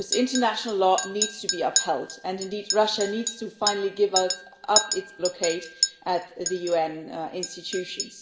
International law needs to be upheld and indeed Russia needs to finally give up its blockade at the UN institutions.